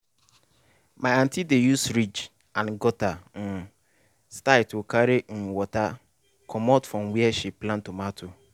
my aunty dey use ridge and gutter um style to carry um water commot from where she plant tomato.